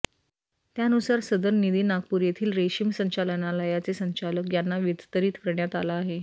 त्यानुसार सदर निधी नागपूर येथील रेशीम संचालनालयाचे संचालक यांना वितरित करण्यात आला आहे